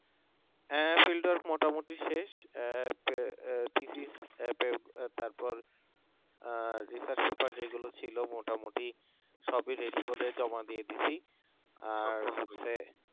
হ্যাঁ field work মোটামুটি শেষ থিসিস তারপর research paper যেগুলো ছিল মোটামুটি সবই ready করে জমা দিয়ে দিয়েছি